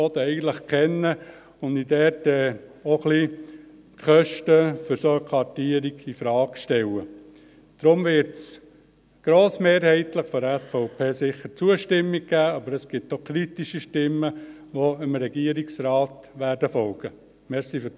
– Deshalb wird es von der SVP sicher grossmehrheitlich Zustimmung geben, aber es gibt auch kritische Stimmen, die dem Regierungsrat folgen werden.